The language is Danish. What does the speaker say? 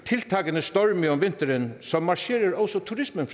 om storme om vinteren så marcherer også turismen